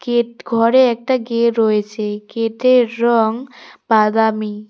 এট ঘরে একটা গে রয়েছে গেটের রং বাদামি।